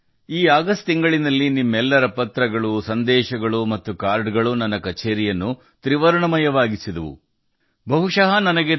ಈ ಆಗಸ್ಟ್ ತಿಂಗಳಿನಲ್ಲಿ ನಿಮ್ಮ ಎಲ್ಲಾ ಪತ್ರಗಳು ಸಂದೇಶಗಳು ಮತ್ತು ಕಾರ್ಡ್ ಗಳು ನನ್ನ ಕಛೇರಿಯನ್ನು ತ್ರಿವರ್ಣ ಧ್ವಜದ ಬಣ್ಣದಲ್ಲಿ ತೋಯಿಸಿವೆ